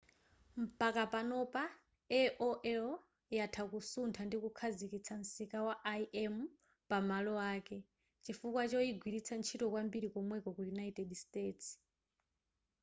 mpaka panopa aol yatha kusutha ndi kukhazikitsa msika wa im pa malo ake chifukwa choyigwiritsa ntchito kwambiri komweko ku united states